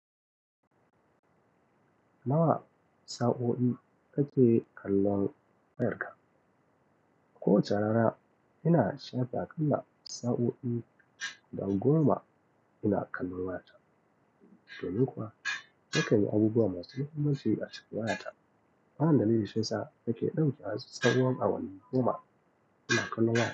Nawa sa'o'in ka ke kallon wayarka? Ko wace rana ina shafa aƙalla sa'o'i goma ina kallon wayata. To, ni kuwa, nakanyi abubuwa masu mahimmanci a cikin wayata. Wannan dalilin shiyasa, nake ɗauka tsahon awanni goma ina kallon wayata.